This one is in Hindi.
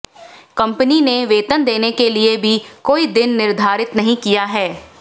कंपनी ने वेतन देने के लिए भी कोई दिन निर्धारित नही किया है